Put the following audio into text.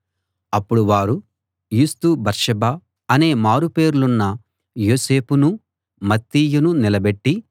అప్పుడు వారు యూస్తు బర్సబ్బా అనే మారు పేర్లున్న యోసేపునూ మత్తీయనూ నిలబెట్టి